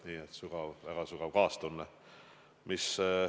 Minu väga sügav kaastunne.